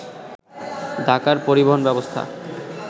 ঢাকার পরিবহন ব্যবস্থা